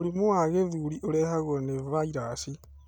Mũrimũ wa gĩthũri ũrehagwo nĩ vairaci